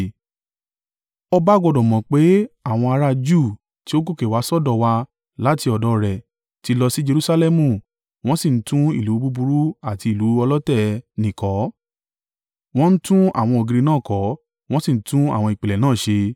Ọba gbọdọ̀ mọ̀ pé àwọn ará Júù tí ó gòkè wá sọ́dọ̀ wa láti ọ̀dọ̀ rẹ̀ ti lọ sí Jerusalẹmu wọ́n sì ń tún ìlú búburú àti ìlú ọlọ̀tẹ̀ ẹ nì kọ́. Wọ́n ń tún àwọn ògiri náà kọ́, wọ́n sì ń tún àwọn ìpìlẹ̀ náà ṣe.